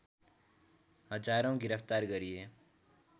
हजारौं गिरफ्तार गरिए